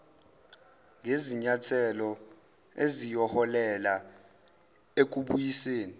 ngezinyathelo eziyoholela ekubuyisweni